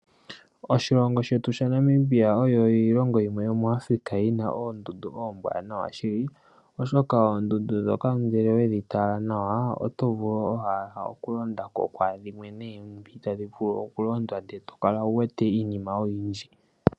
Oshilongo shetu sha Namibia oyo iilongo yimwe yomoAfrika yina oondundu oombwanawa shili, oshoka oondundu ndhoka ngele owe dhitala nawa, oto vulu owala oku londa ko, kwaadhimwe ndhoka tadhi vulu oku londwa, ndele to kala uwete iinima oyindji.